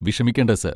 വിഷമിക്കേണ്ട, സർ.